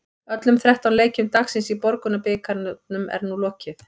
Öllum þrettán leikjum dagsins í Borgunarbikarnum er nú lokið.